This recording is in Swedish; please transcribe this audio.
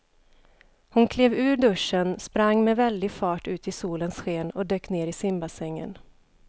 Hon klev ur duschen, sprang med väldig fart ut i solens sken och dök ner i simbassängen.